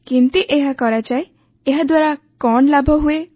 କେମିତି ଏହା କରାଯାଏ ଏହାଦ୍ୱାରା କଣ ଲାଭ ହୁଏ